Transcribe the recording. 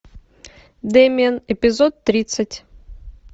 демиан эпизод тридцать